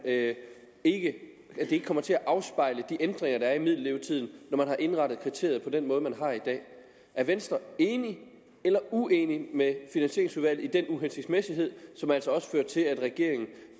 det ikke kommer til at afspejle de ændringer der er i middellevetiden når man har indrettet kriteriet på den måde man har i dag er venstre enig eller uenig med finansieringsudvalget i at uhensigtsmæssighed som altså også førte til at regeringen